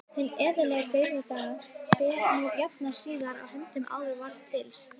Hinn eðlilega dauðdaga ber nú að jafnaði síðar að höndum en áður var til siðs.